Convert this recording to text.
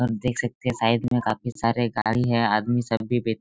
आप देख सकते है साइड में काफी सारे गाड़ी है आदमी सब भी बैठ--